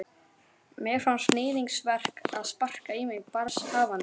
Mér fannst níðingsverk að sparka í mig barnshafandi.